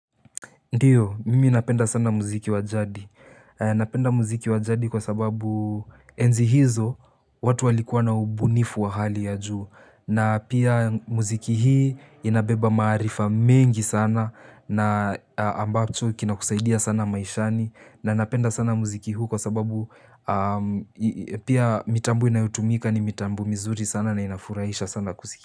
Ndiyo, mimi napenda sana muziki wa jadi, napenda muziki wa jadi kwa sababu enzi hizo watu walikuwa na ubunifu wa hali ya juu, na pia muziki hii inabeba maarifa mengi sana, na ambacho kinakusaidia sana maishani, na napenda sana muziki huu kwa sababu pia mitambo inayotumika ni mitambo mizuri sana na inafurahisha sana kusiki.